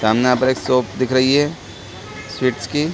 सामने यहाँ पर एक शॉप दिख रही है स्वीट्स की --